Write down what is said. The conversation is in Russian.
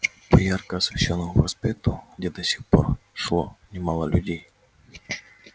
по ярко освещённому проспекту где до сих пор шло немало людей